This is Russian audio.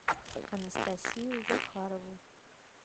анастасию захарову